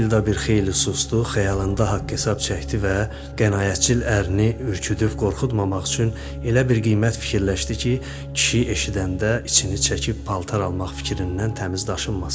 Matilda bir xeyli susdu, xəyalında haqq-hesab çəkdi və qənaətçil ərini ürküdübb qorxutmamaq üçün elə bir qiymət fikirləşdi ki, kişi eşidəndə içini çəkib paltar almaq fikrindən təmiz daşınmasın.